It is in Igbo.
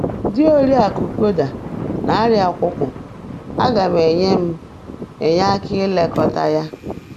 Di Oriakụ Koda na-arịa àkwụ́kwụ̀, aga m enye m enye aka ilekọta ya.